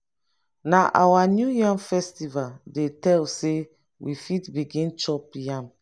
na our new yam festival dey tell sey we fit begin chop yam.